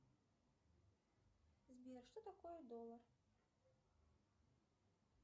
сбер что такое доллар